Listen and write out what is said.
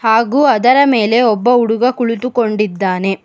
ಅದರ ಮೇಲೆ ಒಬ್ಬ ಹುಡುಗ ಕುಳಿತುಕೊಂಡಿದ್ದಾನೆ.